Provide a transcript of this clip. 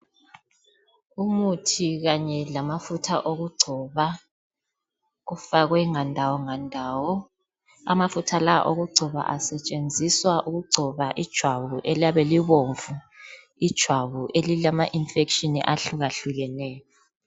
Umuthi kanye lamafutha okugcoba ufakwe ngandawo ngandawo. Amafutha la okugcoba asetshenziswa ukugcoba ijwabu eliyabe libomvu, ijwabu elilamainfection ahlukahlukeneyo.